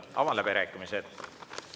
Avan läbirääkimised.